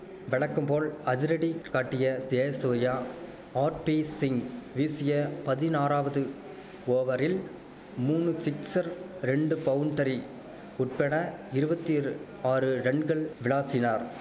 வெலக்கும்போல் அதிரடி காட்டிய ஜெசூர்யா ஆர்பீசிங் வீசிய பதினாறாவது ஓவரில் மூனு சிக்சர் ரெண்டு பவுண்ட்டரி உட்பட இருவத்திரு ஆறு ரன்கள் விளாசினார்